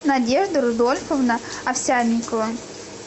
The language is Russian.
надежда рудольфовна овсянникова